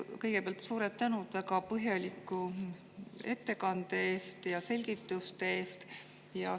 Kõigepealt suur tänu väga põhjaliku ettekande ja selgituste eest.